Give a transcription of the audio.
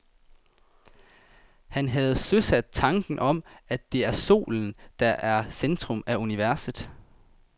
Han havde søsat tanken om, at det er solen, der er i centrum af universet.